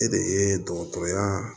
E de ye dɔgɔtɔrɔya